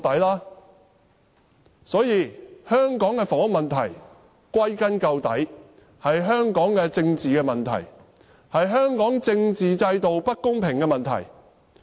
歸根究底，香港的房屋問題是香港的政治問題，也是香港政治制度不公平的問題。